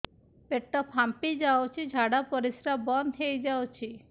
ପେଟ ଫାମ୍ପି ଯାଉଛି ଝାଡା ପରିଶ୍ରା ବନ୍ଦ ହେଇ ଯାଉଛି